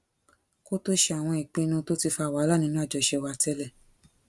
kó tó ṣe àwọn ìpinnu tó ti fa wàhálà nínú àjọṣe wa télè